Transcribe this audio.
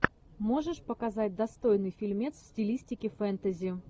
можешь показать достойный фильмец в стилистике фэнтези